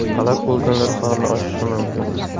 Halok bo‘lganlar soni oshishi mumkin.